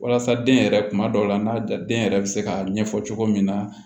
Walasa den yɛrɛ kuma dɔw la n'a ja den yɛrɛ bɛ se ka ɲɛfɔ cogo min na